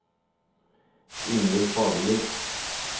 Ingvill Fagerli